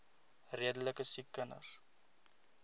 redelike siek kinders